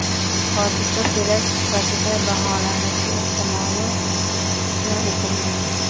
Hodisa terakt sifatida baholanishi ehtimoli istisno etilmagan.